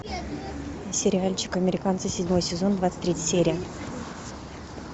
сериальчик американцы седьмой сезон двадцать третья серия